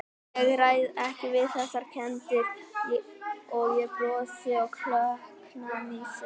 Ég ræð ekki við þessar kenndir- og ég brosi og klökkna í senn.